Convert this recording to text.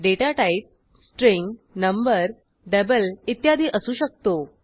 data type string number double इत्यादी असू शकतो